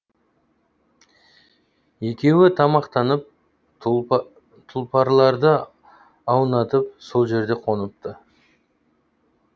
екеуі тамақтанып тұлпарларды аунатып сол жерде қоныпты